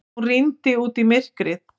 Hún rýndi út í myrkrið.